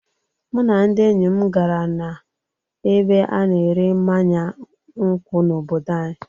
Mụ na ndị enyi m gara na ebe a-na ere mmanya nkwu n'obodo anyị.